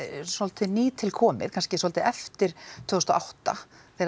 svolítið nýtilkomið kannski svolítið eftir tvö þúsund og átta